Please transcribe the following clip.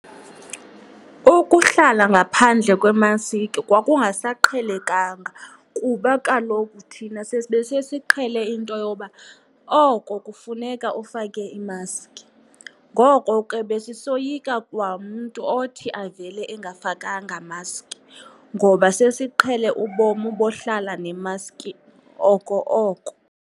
Ukuhlala ngaphandle kwemaski kwakungasaqhelekanga kuba kaloku thina besesisiqhele into yoba oko kufuneka ufake imaski. Ngoko ke besisoyika kwamntu othi avele engafakanga maski ngoba sesiqhele ubomi bokuhlala nemaski oko oko.